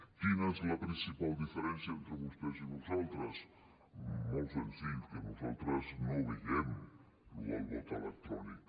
quina és la principal diferència entre vostès i nosaltres molt senzill que no nosaltres no veiem lo del vot electrònic